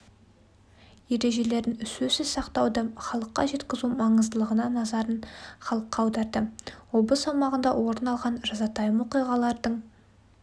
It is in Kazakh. ережелерін сөзсіз сақтауды халыққа жеткізу маңыздылығына назарын халыққа аударды облыс аумағында орын алған жазатайым оқиғалардың